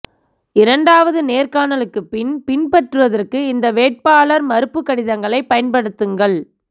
இரண்டாவது நேர்காணலுக்குப் பின் பின்பற்றுவதற்கு இந்த வேட்பாளர் மறுப்பு கடிதங்களைப் பயன்படுத்துங்கள்